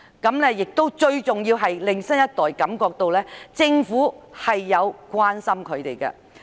最重要的是，此舉可令新一代感到政府確實關心他們。